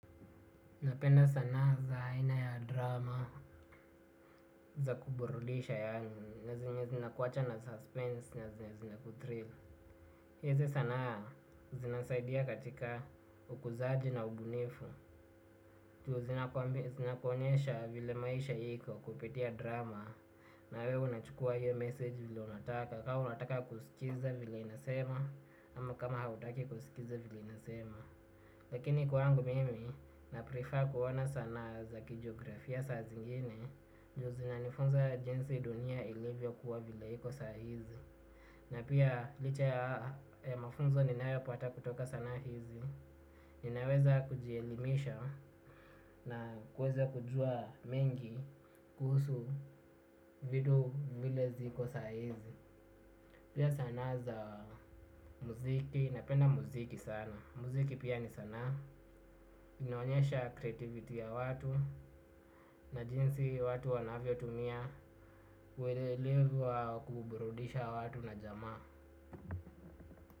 Napenda sanaa za aina ya drama za kuburudisha yaani na zenye zinakuacha na suspense na zenye zinaku thrive. Hizi sana zinasaidia katika ukuzaji na ubunifu. Tu zinakuonyesha vile maisha hiko kupitia drama. Na we unachukua hiyo message vile unataka. Ka unataka kusikiza vile inasema ama kama hautaki kusikiza vile inasema. Lakini kwaangu mimi, na prefer kuona sanaa za kijografia saa zingine. Ju zinanifunza jinsi dunia ilivyokuwa vila hiko saa hizi. Na pia licha ya mafunzo ninayopata kutoka sanaa hizi ninaweza kujielimisha na kuweza kujua mengi kuhusu vitu vile ziko sa hizi. Pia sanaa za muziki, napenda muziki sana. Muziki pia ni sanaa, inaonyesha creativity ya watu na jinsi watu wanavyo tumia. Kwelelevu wa kuburudisha watu na jamaa.